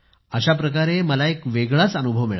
अशाप्रकारे मला एक वेगळाच अनुभव मिळाला